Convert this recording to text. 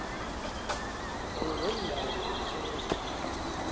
kanye neendawo zokusebenzela